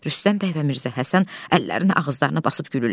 Rüstəm bəy və Mirzə Həsən əllərini ağızlarını basıb gülürlər.